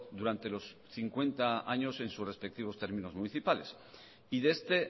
durante los cincuenta años en sus respectivos términos municipales y de este